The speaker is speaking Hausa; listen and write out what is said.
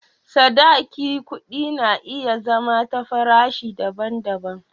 Sadaki kuɗi na iya zama da farashi daban-daban.